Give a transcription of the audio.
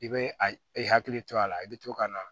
I bɛ a i hakili to a la i bɛ to ka na